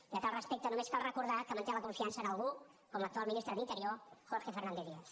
i a tal respecte només cal recordar que manté la confiança en algú com l’actual ministre d’interior jorge fernández díaz